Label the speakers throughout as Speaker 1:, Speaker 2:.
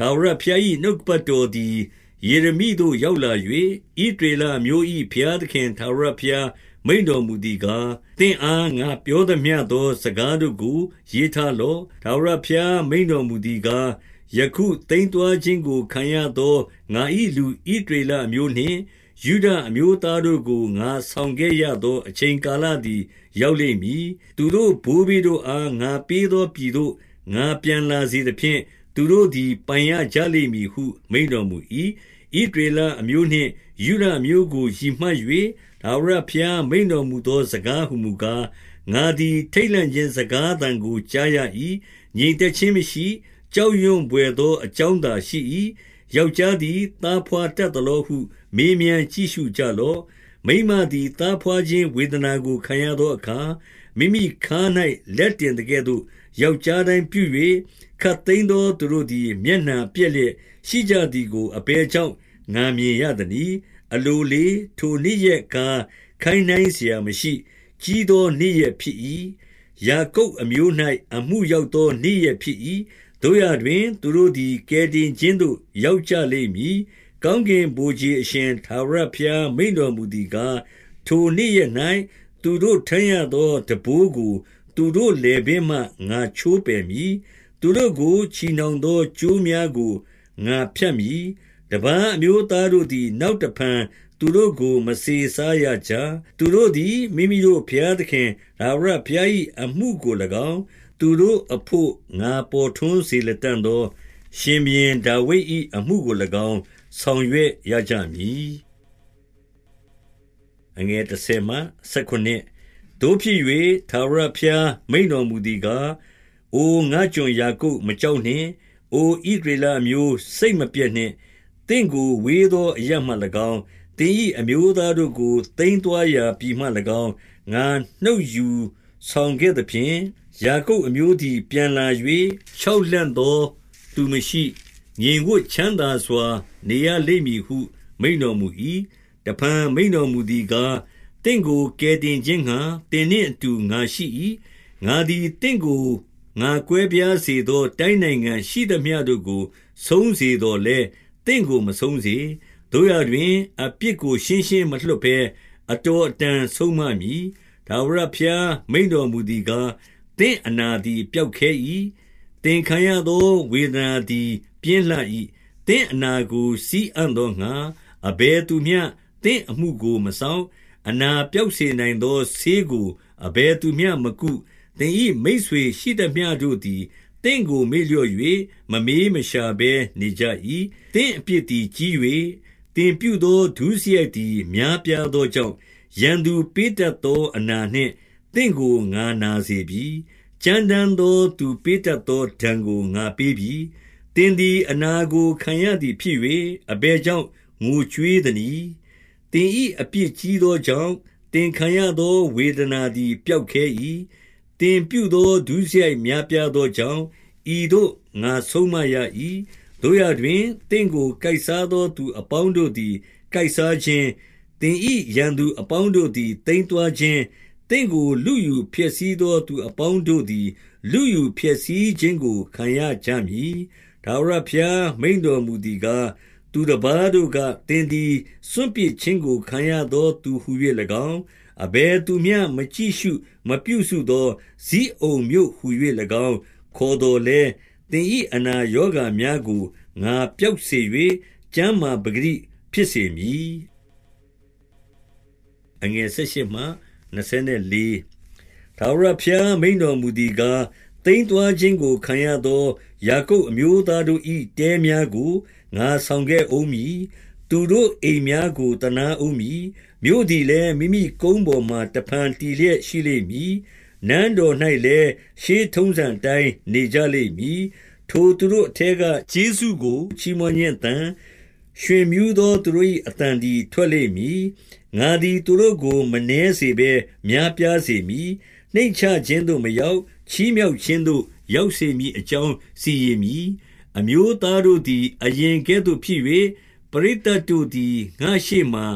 Speaker 1: ထာဝရဘုရား၏ နှုတ်ကပတ်တော်သည် ယေရမိသို့ ရောက်လာ၍၊ ဣသရေလအမျိုး၏ ဘုရားသခင် ထာဝရဘုရား မိန့်တော်မူသည်ကား၊ သင့်အား ငါပြောသမျှသော စကားတို့ကို ရေးထားလော့။ ထာဝရဘုရား မိန့်တော်မူသည်ကား၊ ယခု သိမ်းသွားခြင်းကို ခံရသော ငါ၏ ဣသရေလအမျိုးနှင့် ယုဒအမျိုးသားတို့ကို ငါဆောင်ခဲ့ရသော အချိန်ကာလသည် ရောက်လိမ့်မည်။ သူတို့ဘိုးဘေးတို့အား ငါပေး သောပြည်သို့ ငါပြန်လာစေသဖြင့်၊ သူတို့သည် ပိုင်ရကြလိမ့်မည်ဟု မိန့်တော်မူ၏။ ဣသရေလအမျိုးနှင့် ယုဒအမျိုးကို ရည်မှတ်၍ ထာဝရဘုရား မိန့်တော်မူသောစကားဟူမူကား၊ ငါသည် ထိတ်လန့်ခြင်းစကားသံကို ကြားရ၏။ ငြိမ်သက်ခြင်းမရှိ။ ကြောက်ရွံဘွယ်သောအကြောင်းသာ ရှိ၏။ ယောက်ျားသည် သားဘွားတတ်သလောဟု မေးမြန်းကြည့်ရှုကြလော့။ မိန်းမသည် သားဘွားခြင်း ဝေဒနာကိုခံရသောအခါ၊ မိမိခါး၌ လက်တင်သကဲ့သို့ ယောက်ျားတိုင်းပြု၍၊ ခပ်သိမ်းသော သူတို့သည် မျက်နှာ ပျက်လျက်ရှိကြသည်ကို အဘယ်ကြောင့် ငါမြင်ရသနည်း။ အလိုလေး၊ ထိုနေ့ရက်ကား ခိုင်းနှိုင်းစရာမရှိ။ ကြီးသောနေ့ရက် ဖြစ်၏။ ယာကုပ်အမျိုး၌ အမှုရောက် သော နေ့ရက်ဖြစ်၏။ သို့ရာတွင်၊ သူတို့သည် ကယ်တင် ခြင်းသို့ ရောက်ကြလိမ့်မည်။ ကောင်းကင်ဗိုလ်ခြေအရှင် ထာဝရဘုရား မိန့်တော်မူသည်ကား၊ ထိုနေ့ရက်၌ သူတို့ထမ်းရသော ထမ်းဘိုးကို သူတို့လည်ပင်းမှ ငါချိုးပယ်မည်။ သူတို့ကို ချည်နှောင်သော ကြိုးများကို ငါဖြတ်မည်။ တပါး အမျိုးသားတို့သည် နောက်တဖန်သူတို့ကို မစေစားရကြ။ သူတို့သည် မိမိတို့ဘုရားသခင် ထာဝရဘုရား၏ အမှုကို၎င်း၊ သူတို့အဘို့ ငါပေါ်ထွန်းစေလတံ့သော ရှင်ဘုရင် ဒါဝိဒ်၏အမှုကို၎င်း ဆောင်ရွက်ရကြမည်။ သို့ဖြစ်၍၊ ထာဝရဘုရား မိန့်တော်မူသည်ကား၊ အိုငါ့ကျွန် ယာကုပ်၊ မကြောက်နှင့်။ အို ဣသရေလအမျိုး၊ စိတ်မပျက်နှင့်။ သင့်ကို ဝေးသောအရပ်မှ၎င်း၊ သင်၏ အမျိုးသားတို့ကို ခပ်သိမ်းသွားရာ ပြည်မှ၎င်း၊ ငါနှုတ်ယူ ဆောင်ခဲ့သဖြင့်၊ ယာကုပ်အမျိုးသည် ပြန်လာ၍၊ ချောက် လှန့်သောသူမရှိ၊ ငြိမ်ဝပ်ချမ်းသာစွာ နေရလိမ့်မည်ဟု မိန့်တော်မူ၏။ တဖန်မိန့်တော်မူသည်ကား၊ သင့်ကို ကယ်တင် ခြင်းငှါ သင်နှင့်အတူ ငါရှိ၏။ ငါသည်သင့်ကို ငါကွဲပြား စေသော တိုင်းနိုင်ငံရှိသမျှတို့ကို ဆုံးစေသော်လည်း၊ သင့်ကိုမဆုံးစေ။ သို့ရာတွင်၊ အပြစ်ကို ရှင်းရှင်းမလွှတ်ဘဲ၊ အတော်အတန် ဆုံးမမည်။ ထာဝရဘုရား မိန့်တော်မူသည်ကား၊ သင့်အနာ သည် ပျောက်ခဲ၏။ သင်ခံရသောဝေဒနာသည် ပြင်းလှ ၏။ သင့်အနာကို စည်းအံ့သောငှါ အဘယ်သူမျှ သင့်အမှုကို မစောင့်။ အနာပျောက်စေနိုင်သော ဆေးကို အဘယ်သူမျှမကု။ သင်၏မိတ်ဆွေရှိသမျှတို့သည် သင့်ကို မေ့လျော့ ၍ မမေးမရှာဘဲနေကြ၏။ သင့်အပြစ်သည် ကြီး၍၊ သင်ပြုသော ဒုစရိုက်သည် များပြားသောကြောင့်၊ ရန်သူ ပေးတတ်သော အနာနှင့်သင့်ကို ငါနာစေပြီ။ ကြမ်းတမ်း သောသူ ပေးတတ်သော ဒဏ်ကို ငါပေးပြီ။ သင်သည် အနာကိုခံရသည်ဖြစ်၍၊ အဘယ် ကြောင့် ငိုကြွေးသနည်း။ သင်၏အပြစ်ကြီးသောကြောင့်၊ သင်ခံရသောဝေဒနာသည် ပျောက်ခဲ၏။ သင်ပြုသော ဒုစရိုက်များပြားသောကြောင့်၊ ဤသို့ငါဆုံးမရ၏။ သို့ရာတွင်၊ သင့်ကို ကိုက်စားသောသူအပေါင်း တို့သည် ကိုက်စားခြင်း၊ သင်၏ရန်သူအပေါင်းတို့သည် သိမ်းသွားခြင်း၊ သင့်ကို လုယူဖျက်ဆီးသော သူအပေါင်းတို့ သည် လုယူဖျက်ဆီးခြင်းကို ခံရကြမည်။ ထာဝရဘုရား မိန့်တော်မူသည်ကား၊ သူတပါးတို့ က၊ သင်သည် စွန့်ပစ်ခြင်းကို ခံရသော သူဟူ၍၎င်း၊ အဘယ်သူမျှမကြည့်ရှု မပြုစုသော ဇိအုန်မြို့ဟူ၍၎င်း ခေါ်သော်လည်း၊ သင်၏အနာရောဂါများကို ငါပျောက် စေ၍၊ ကျန်းမာပကတိဖြစ်စေမည်။ ထာဝရဘုရား မိန့်တော်မူသည်ကား၊ သိမ်းသွား ခြင်းကိုခံရသော ယာကုပ်အမျိုးသားတို့၏ တဲများကို ငါဆောင်ခဲ့ဦးမည်။ သူတို့အိမ်များကို သနားဦးမည်။ မြို့သည်လည်း၊ မိမိကုန်းပေါ်မှာ တဖန် တည်လျက်ရှိလိမ့် မည်။ နန်းတော်၌လည်း၊ ရှေးထုံးစံအတိုင်းနေကြလိမ့် မည်။ ထိုသူတို့အထဲက ကျေးဇူးကို ချီးမွမ်းခြင်းအသံ၊ ရွှင်မြူးသော သူတို့၏ အသံသည် ထွက်လိမ့်မည်။ ငါသည် သူတို့ကို မနည်းစေဘဲ များပြားစေမည်။ နှိမ့်ချခြင်းသို့ မရောက်၊ ချီးမြှောက်ခြင်းသို့ ရောက်စေမည်အကြောင်း စီရင်မည်။ အမျိုးသားတို့သည် အရင်ကဲ့သို့ဖြစ်၍၊ ပရိသတ် တို့သည် ငါ့ရှေ့မှာ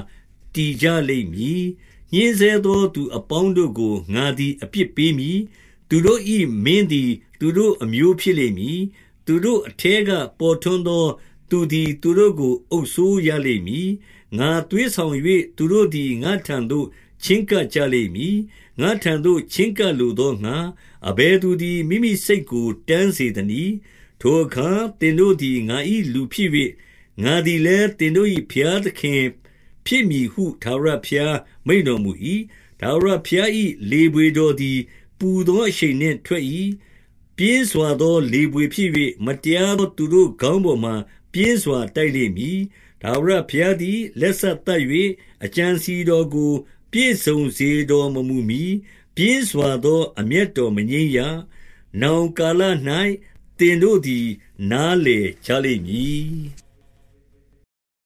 Speaker 1: တည်ကြလိမ့်မည်။ ညှဉ်းဆဲသော သူအပေါင်းတို့ကို ငါသည် အပြစ်ပေးမည်။ သူတို့၏ မင်းသည် သူတို့အမျိုးဖြစ်လိမ့်မည်။ သူတို့အထဲက ပေါ်ထွန်းသော သူသည် သူတို့ကို အုပ်စိုးရ လိမ့်မည်။ ငါသွေးဆောင်၍ သူတို့သည် ငါ့ထံသို့ ချဉ်းကပ် ကြလိမ့်မည်။ ငါ့ထံသို့ ချဉ်းကပ် လိုသောငှါ၊ အဘယ်သူသည် မိမိစိတ်ကို တန်းစေသနည်း။ ထိုအခါ သင်တို့သည် ငါ၏လူဖြစ်၍၊ ငါသည် လည်း သင်တို့၏ ဘုရားသခင်ဖြစ်မည်ဟု ထာဝရဘုရား မိန့်တော်မူ၏။ ထာဝရဘုရား၏ လေဘွေတော်သည် ပူသော အရှိန်နှင့် ထွက်၏။ ပြင်းစွာသော လေဘွေဖြစ်၍၊ မတရားသော သူတို့ခေါင်းပေါ်မှာ ပြင်းစွာ တိုက်လိမ့် မည်။ ထာဝရဘုရားသည် လက်စသတ်၍၊ အကြံ အစည်တော်ကို ပြည့်စုံစေတော်မမူမှီ၊ ပြင်းစွာသော အမျက်တော်မငြိမ်းရ။ နောင်ကာလ၌ သင်တို့သည် နားလည်ကြလိမ့်မည်။